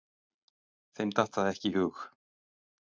Þeim datt það ekki í hug.